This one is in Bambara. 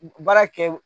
Baara kɛ